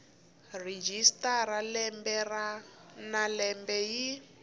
registrar lembe na lembe yi